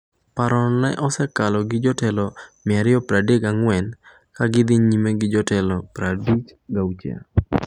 Parono no osekalo gi jotelo 234 ka gidhi nyime gi jotelo 56.